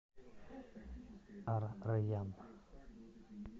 ар райян